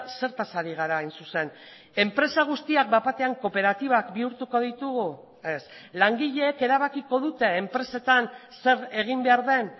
zertaz ari gara hain zuzen enpresa guztiak bat batean kooperatibak bihurtuko ditugu ez langileek erabakiko dute enpresetan zer egin behar den